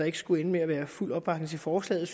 ikke skulle ende med at der er fuld opbakning til forslaget